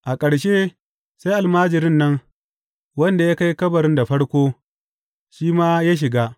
A ƙarshe sai almajirin nan, wanda ya kai kabarin da farko, shi ma ya shiga.